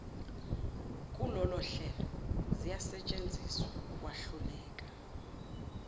kulolohlelo ziyasetshenziswa ukwahluleka